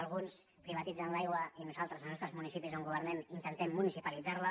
alguns privatitzen l’aigua i nosaltres als nostres municipis on governem intentem municipalitzar la